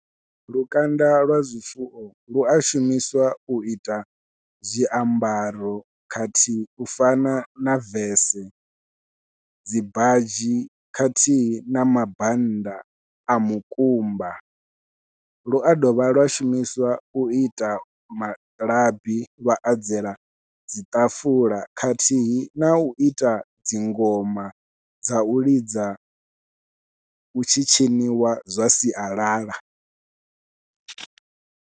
Lukanda lwa zwifuwo lua shumiswa u ita zwiambaro khathihi u fana na vese dzi badzhi khathihi na mabannda a mukumba lua dovha lwa shumiswa u ita malabi lwa adzela dzi ṱafula khathihi nau ita dzi ngoma dzau lidza hu tshi tshiniwa zwa sialala.